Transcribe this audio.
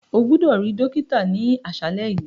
O gbọdọ ri dokita ni aṣalẹ yi.